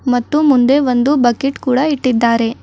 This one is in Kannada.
ಮತ್ತು ಮುಂದೆ ಒಂದು ಬಕೆಟ್ ಕೂಡ ಇಟ್ಟಿದ್ದಾರೆ.